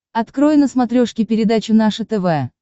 открой на смотрешке передачу наше тв